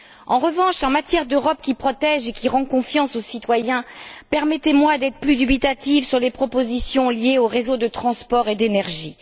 En revanche, concernant l'Europe qui protège et qui rend confiance aux citoyens, permettez moi d'être plus dubitative sur les propositions liées aux réseaux de transport et d'énergie.